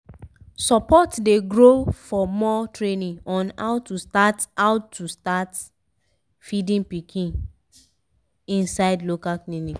support dey grow for more training on how to start how to start feed pikin inside local clinic